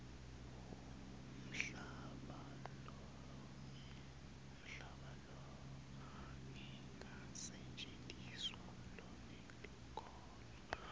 umhlaba longakasetjentiswa lonelikhono